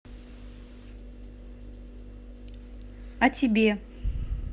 а тебе